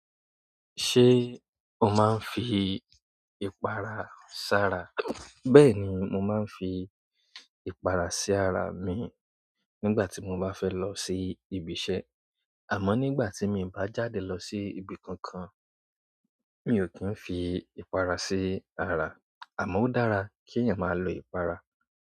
Ṣé o máa ń fi ìpara sara? Bẹ́ẹ̀ni, mo máa ń fi ìpara sí ara mi nígbà tí mo bá fẹ́ lọ sí ibi iṣẹ́. Àmọ́ nígbà tí mi bá jáde lọ sí ibi kankan, mi ò kí ń fi ìpara sí ara. Àmọ́ ó dára kí eeyan máa lo ìpara.